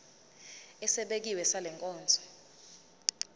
esibekiwe sale nkonzo